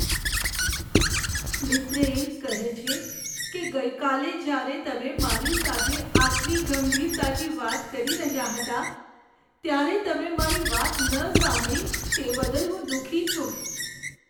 મિત્ર એક કહે છે કે ગઈકાલે જ્યારે તમે મારી સાથે આટલી ગંભીરતાથી વાત કરી રહ્યા હતા ત્યારે તમે મારી વાત ન સાંભળી તે બદલ હું દુઃખી છું.